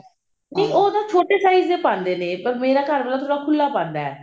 ਨਹੀਂ ਉਹ ਤਾਂ ਛੋਟੇ size ਦੇ ਪਾਉਂਦੇ ਨੇ ਪਰ ਮੇਰਾ ਘਰਵਾਲਾ ਥੋੜਾ ਖੁੱਲਾ ਪਾਉਂਦਾ